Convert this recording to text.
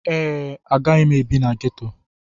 Ee, agaghị m ebi na ghetto.